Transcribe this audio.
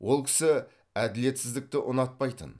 ол кісі әділетсіздікті ұнатпайтын